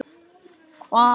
Engum var vægt.